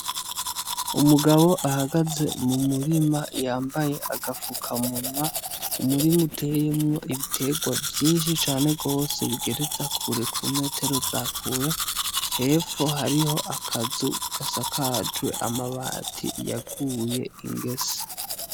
Umugabo ahagaze mu murima, yambaye agafukamunwa. Umurima uteyemwo ibiterwa vyinshi cane gose bigereza kure, ku metero za kure. Hepfo hariho akazu gasakajwe amabati yaguye ingese.